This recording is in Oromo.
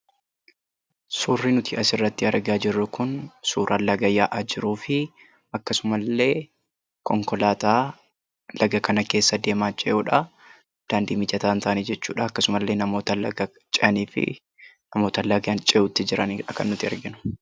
Suurri nuti asirratti argaa jirru kun suura laga yaa'aa jiru fi akkasumas illee konkolaataa laga kana keessa deemaa jirudha. Akkasumas namoota laga kana cehuutti jiran argina. Konkolaataan kunis daandii mijataa hin taane irra deema jechuudha.